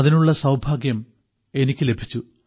അതിനുള്ള സൌഭാഗ്യം എനിക്കു ലഭിച്ചു